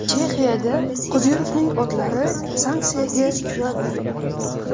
Chexiyada Qodirovning otlari sanksiyaga uchradi.